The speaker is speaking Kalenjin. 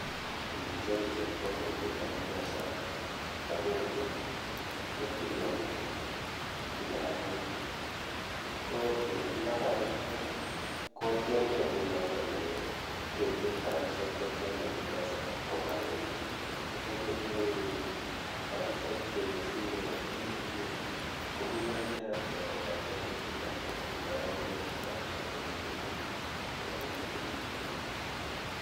Indicheru chepkondokuk en mpesa kobwa benki kotile rabinik, ko eletildo rabishek ko tienge ngunon kolee kecheru rabishek chetian en mpesa kbwa benki, kotikecheru rabishek chesire elibu mut komii barakiat rabishek chetile kosir ndo yoon kecheru rabishek chemiten ngweny en elibu mut.